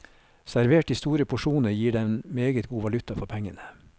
Servert i store porsjoner gir den meget god valuta for pengene.